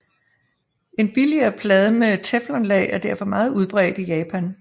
En billigere plade med teflonlag er derfor meget udbredt i Japan